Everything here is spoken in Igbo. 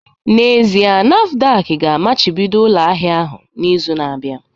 N'ezie, NAFDAC ga-amachibido ụlọ ahịa ahụ n'izu na-abịa